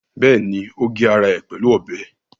Bẹ́ẹ̀ni, ó gé ara ẹ̀ pẹ̀lú ọbẹ̀